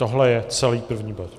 Tohle je celý první bod.